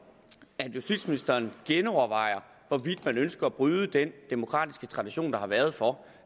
at justitsministeren genovervejer hvorvidt man ønsker at bryde den demokratiske tradition der har været for